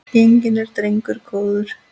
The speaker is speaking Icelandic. Genginn er drengur góður.